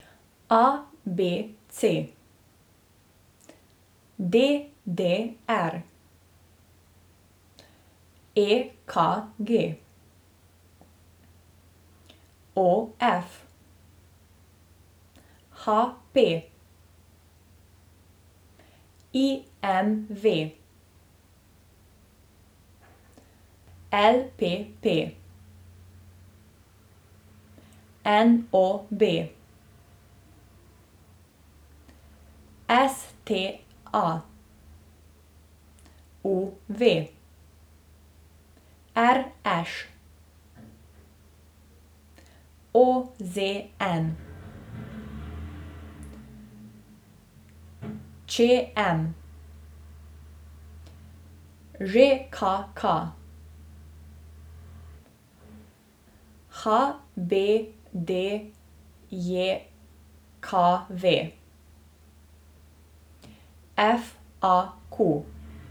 A B C; D D R; E K G; O F; H P; I M V; L P P; N O B; S T A; U V; R Š; O Z N; Č M; Ž K K; H B D J K V; F A Q.